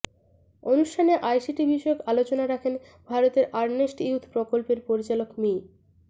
অনুষ্ঠানে আইসিটি বিষয়ক আলোচনা রাখেন ভারতের আরনেস্ট ইউথ প্রকল্পের পরিচালক মি